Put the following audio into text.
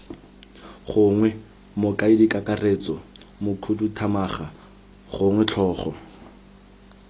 gongwe mokaedikakaretso mokhuduthamaga gongwe tlhogo